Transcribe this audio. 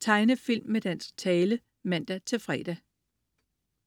Tegnefilm med dansk tale (man-fre)